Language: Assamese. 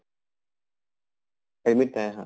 admit নাই আহা?